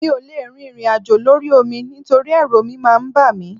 Mi ò lè rin ìrìnàjò lórí omi nítorí ẹrú omi máa ń bà mí